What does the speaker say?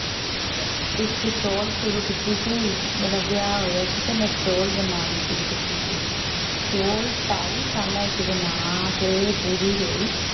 ਸਿਲਨ ਵਾਲਾ ਇੱਕ shawl ਸ਼ੁਰੂ ਕੀਤੀ ਸੀ ਤੇ ਮੇਰਾ ਵਿਆਹ ਹੋਇਆ ਸੀ ਇੱਕ shawl ਬਣਾਉਣੀ ਸ਼ੁਰੂ ਕੀਤੀ ਸੀ ਹਮ shawl ਢਾਈ ਸਾਲਾਂ ਵਿੱਚ ਬਣਾ ਕੇ ਪੂਰੀ ਹੋਈ।